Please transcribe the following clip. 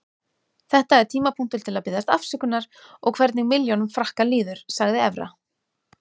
Þetta er tímapunktur til að biðjast afsökunar og hvernig milljónum Frakka líður, sagði Evra.